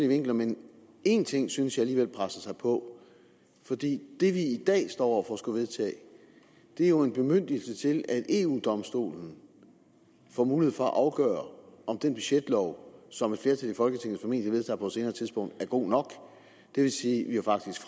vinkler men en ting synes jeg alligevel presser sig på for det vi i dag står over for at skulle vedtage er jo en bemyndigelse til at eu domstolen får mulighed for at afgøre om den budgetlov som et flertal i folketinget formentlig vedtager på et senere tidspunkt er god nok det vil sige at vi jo faktisk